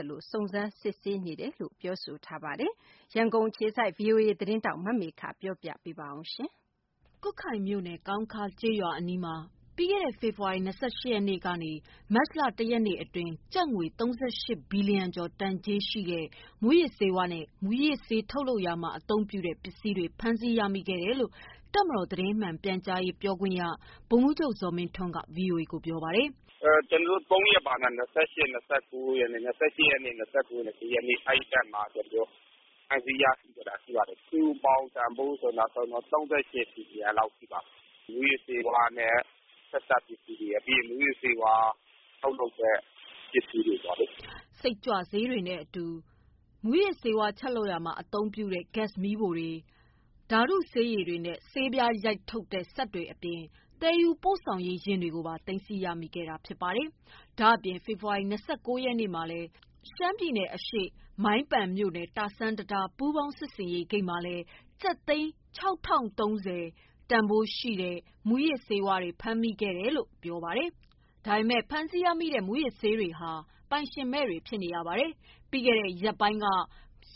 က်လက် စုံစမ်း စစ်ဆေးနေတယ်လို့ တပ်မတော် ပြောခွင့်ရက ပြောပါတယ်။ ဒီသတင်းကို ဗွီအိုအေသတင်းထောက်မေခက ပေးပို့ထားပါတယ်။ ကွတ်ခိုင်မြို့နယ် ကောင်းခါးကျေးရွာအနီးမှာ ပြီးခဲ့တဲ့ ဖေဖော်ဝါရီ ၂၈ ရက် ကနေ မတ်လ ၁ ရက် နေ့ အတွင်း ကျပ်ငွေ ၃၈ ဘီလီယံ ကျော် တန်ကြေးရှိတဲ့ မူးယစ်ဆေးဝါးနဲ့ မူးယစ်ဆေးထုတ်လုပ် ရာမှာ အသုံးပြုတဲ့ ပစ္စည်းတွေ ဖမ်းဆီး ရမိ ခဲ့တယ်လို့ တပ်မတော် သတင်း မှန်ပြန်ကြားရေးအဖွဲ့ ပြောခွင့်ရ ဗိုလ်မှုးချုပ်ဇော်မင်းထွန်းက VOA ကို ပြောပါတယ်။ “ ကျနော်တို့ ၃ ရက်ပါ။ ၂၈၊ ၂၉၊ ၁ ရက်နေ့ ၃ ရက်နေ့တွေမှာ ဖမ်းဆီး ရမိခဲ့တာ ဖြစ်ပါတယ်။ စုစုပေါင်း တန်ဖိုးက ၃၈ ဘီလီယ ံရှိပါတယ်။ မူးယစ်ဆေး ဆက်စပ်ပစ္စည်းတွေရယ်၊ ထုတ်လုပ်တာမှာ သုံးတဲ့ ပစ္စည်းတွေရယ်ပေါ့။” စိတ်ကြွဆေးတွေနဲ့အတူ မူးယစ်ဆေးဝါး ချက်လုပ်ရာမှာ အသုံးပြုတဲ့ ဂက်စ် မီးဖိုတွေ၊ ဓာတု ဆေးရည် တွေနဲ့ ၊ ဆေးပြားရိုက်ထုတ်တဲ့ စက်တွေ အပြင် သယ်ယူပို့ဆောင်ရေးယာဉ်တွေ ကိုပါ သိမ်းဆည်း ရမိခဲ့တာ ဖြစ်ပါတယ်။ ဒါ့အပြင် ဖေဖော်ဝါရီ ၂၉ ရက်မှာလည်း ရှမ်းပြည်နယ်အရှေ့ မိုင်းပန်မြို့နယ် တာဆန်းတံတား ပူးပေါင်း စစ်ဆေးရေး ဂိတ် မှာလည်း ကျပ်သိန်း တန်ဖိုးရှိတဲ့ မူးယစ်ဆေးတွေ မိခဲ့တယ်လို့ ပြော ပါတယ်။ ဒါပေမယ့် ဖမ်းဆီးရမိတဲ့ မူးယစ်ဆေးဝါး တွေဟာ ပိုင်ရှင်မဲ့တွေ ဖြစ်နေတာပါ။ ပြီးခဲ့တဲ့ ရက်ပိုင်းက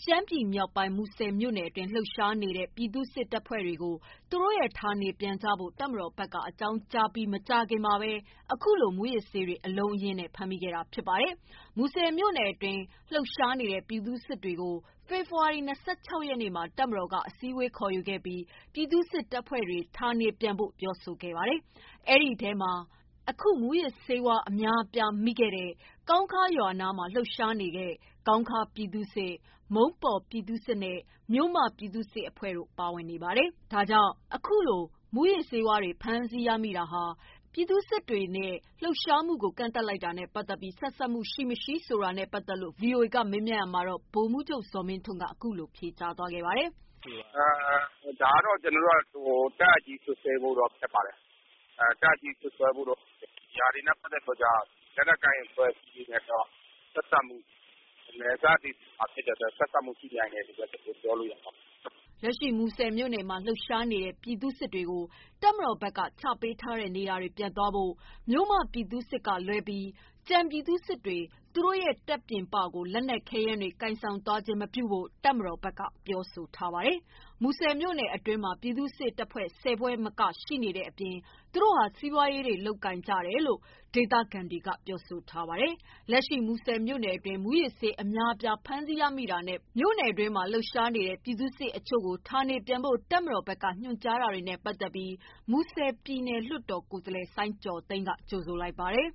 ရှမ်းပြည်မြောက်ပိုင်း မူဆယ်မြို့နယ်အတွင်း လှုပ်ရှားနေတဲ့ ပြည်သူ့စစ် တပ်ဖွဲ့ တွေကို သူတို့ ရဲ့ ဌာနေပြန်ကြဖို့ တပ်မတော် ဘက်က အကြောင်းကြားပြီး မကြာခင်မှာပဲ အခုလို မူးယစ်ဆေးတွေ အလုံးအရင်းနဲ့ ဖမ်းမိခဲ့တာဖြစ်ပါတယ်။ မူဆယ်မြို့နယ် အတွင်း လှုပ်ရှားနေတဲ့ ပြည်သူ့စစ်တွေကို ဖေဖော်ဝါရီ ၂၆ ရက်နေ့ မှာ တပ်မတော်က အစည်းအဝေး ခေါ်ယူခဲ့ပြီး ပြည်သူ့စစ် တပ်ဖွဲ့ တွေ ဌာနေပြန်ဖို့ ပြောဆိုခဲ့တာပါ။ အဲဒီထဲမှာ အခု မူးယစ်ဆေးတွေ အများအပြားမိတဲ့ ကောင်းခါးရွာ နားမှာ လှုပ်ရှားနေတဲ့ ကောင်းခါးပြည်သူ့စစ်၊ မုံးပေါ်ပြည်သူ့စစ်နဲ့ မြို့မ ပြည်သူ့စစ်တပ်ဖွဲ့ တို့ ပါဝင်နေပါတယ်။ ဒါကြောင့် အခုလို မူးယစ်ဆေးတွေ ဖမ်းဆီးရမိတာဟာ ပြည်သူစစ်တွေရဲ့ လှုပ်ရှားမှုကို ကန့်သတ်လိုက်တာနဲ့ ပတ်သက်ပြီး ဆက်စပ်မှုရှိမရှိ VOA က မေး မြန်းရာမှာတော့ ဗိုလ်မှုးချုပ်ဇော်မင်းထွန်းက အခုလို ဖြေကြားပါတယ်။ “ ဒါကတော့ ကျနော်တို့ တပ်အပ် စွပ်စွဲဖို့ ကတော့ ခက်ပါတယ်။ ဒါတွေနဲ့ ပတ်သက်ပြီးတော့ လက်နက်ကိုင် အဖွဲ့တွေလည်းဖြစ်၊ နယ်စပ်မှာနေတဲ့ အဖွဲ့တွေ ဆိုတော့ ဆက်စက်မှု ရှိနိုင်တယ် လို့ဘဲ ပြောလို့ရမှာပေါ့လို့ ပြောရမှာပေါ့။” လက်ရှိမှာ မူဆယ်မှာလှုပ်ရှားနေတဲ့ ပြည်သူ့စစ်တွေကို တပ်မတော်ဘက်က ချပေးထားတဲ့ နေရာ ပြန်သွားဖို့၊ မြို့မပြည်သူ့စစ် ကလွဲပြီး ကျန်ပြည်သူ့စစ်တွေ သူတို့ရဲ့တပ်ပြင်ပကို လက်နက် ခဲယမ်းတွေ ကိုင်ဆောင်သွားခြင်း မပြုဖို့ တပ်မတော်ဘက်က ပြောဆိုထားတာပါ။ မူဆယ်မြို့နယ် အတွင်းမှာ ပြည်သူ့စစ် တပ်ဖွဲ့ ၁၀ ဖွဲ့ ထက်မနည်း ရှိနေတဲ့ အပြင် သူတို့ဟာ စီးပွားရေး လုပ်ကိုင်ကြတယ်လို့ ဒေသခံတွေက ပြောပါတယ်။ လက်ရှိ မူဆယ်မြို့နယ်တွင်း မူးယစ်ဆေး အများအပြား ဖမ်းဆီး ရမိတာနဲ့ မြို့နယ်တွင်းမှာ လှုပ်ရှား နေတဲ့ ပြည်သူ့စစ် အချို့ကို ဌာနေပြန် ဖို့ တပ်မတော်ဘက်က ညွှန်ကြား တာတွေနဲ့ ပတ်သက်ပြီး မူဆယ် ပြည်နယ်လွှတ်တော် ကိုယ်စားလှယ် စိုင်းကျော်သိန်းက ကြိုဆိုလိုက် ပါတယ်။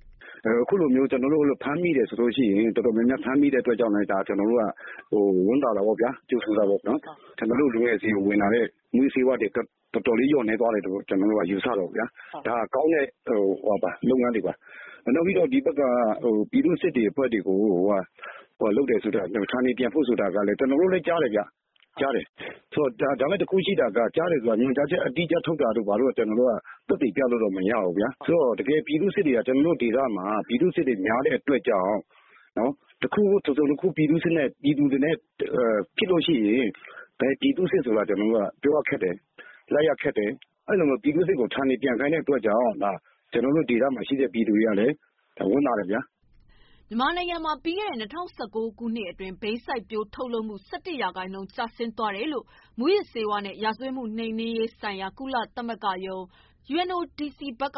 “ခုလို တော်တော်များများ ဖမ်းမိတဲ့အတွက် ကျနော်တို့ ဝမ်းသာတယ်။ ကြိုဆိုတယ်။ ကျနော်တို့ လူငယ်တွေ ဆီကိုရောက်လာမယ့် မူယစ်ဆေးတွေ တော်တော်လေးနည်းသွား တယ် လို့ ယူဆတယ်။ ဒါက ကောင်းတဲ့လုပ်ငန်းတွေပါ။ နောက်ပြီးတော့ ပြည်သူ့ စစ်တွေနဲ့ပတ်သက်ပြီး ဌာနေပြန်ဖို့ ဆိုတာကလည်း ကျနော်တို့လည်း ကြားတယ်။ ဒါပေမယ့် တခုရှိတာကတော့ ကြားတယ်ဆိုတာ ညွှန်ကြားချက် အတိအကျ ထုတ်တာကတော့ ကျနော်တို့ သက်သေပြလို့ မရဘူးဗျာ ဆိုတော့ပြည်သူစစ် တွေက ကျနော်တို့ ဒေသမှာ ပြည်သူ့စစ်တွေ များတဲ့အတွက်ကြောင့် တခုခု တစုံတခုခု ပြည်သူတွေနဲ့ ဖြစ်ရင် ဘယ်ပြည်သူ့စစ်ဆိုတာ ပြောရခက်တယ်။ လိုက်ရခက်တယ်။ ဆိုတော့ ပြည်သူစစ်ကို ဌာနေပြန်ခိုင်းတဲ့အတွက်ကြောင့် ကျနော်တို့ ဒေသမှာရှိတဲ့ ပြည်သူတွေကလည်း ဝမ်းသာတယ်ဗျာ။” မြန်မာနိုင်ငံမှာ ပြီးခဲ့တဲ့ ၂၀၁၉ ခုနှစ်အတွင်း ဘိန်းစိုက်ပျိုးထုတ်လုပ်မှု ၁၁ ရာခိုင်နှုန်း ကျဆင်း သွားတယ်လို့ မူးယစ်ဆေးဝါးနဲ့ ရာဇဝတ်မှုနှိမ်နှင်းရေး ဆိုင်ရာ ကုလသမဂ္ဂရုံး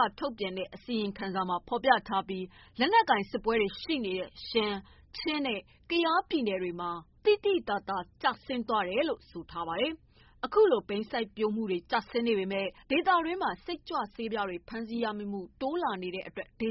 က ထုတ်ပြန်တဲ့ အစီရင်ခံစာမှာ ဖော်ပြထားပြီး လက်နက်ကိုင်စစ်ပွဲတွေ ရှိနေတဲ့ ရှမ်း၊ ချင်းနဲ့ ကယားပြည်နယ် တွေမှာတော့ သိသိသာသာ ကျဆင်းသွားတယ်လို့ ဆိုပါတယ်။ အခုလို ဘိန်းစိုက်ပျိုးမှု ကျဆင်းနေပေမယ့် ဒေသတွင်းမှာ စိတ်ကြွ ဆေးပြားတွေ ဖမ်းဆီးရမိမှု တိုးလာနေတဲ့ အတွက် ဒ